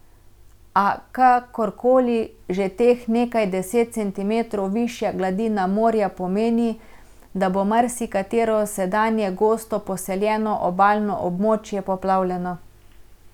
A kakorkoli, že teh nekaj deset centimetrov višja gladina morja pomeni, da bo marsikatero sedanje gosto poseljeno obalno območje poplavljeno.